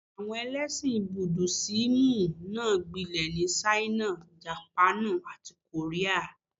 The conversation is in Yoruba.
Àwọn ẹlẹ́ṣìn Búdísíìmù náà gbilẹ̀ ní Ṣáínà, Jàpáànù, àti Kòríà.